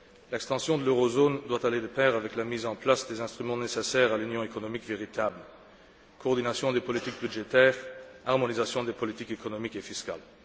L'extension de l'eurozone doit aller de pair avec la mise en place des instruments nécessaires à l'union économique véritable coordination des politiques budgétaires, harmonisation des politiques économiques et fiscales.